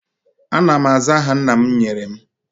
Ana m aza aha nna m nyere m